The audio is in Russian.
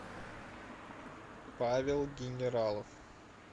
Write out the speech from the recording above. павел генералов